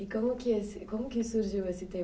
E como que como que surgiu esse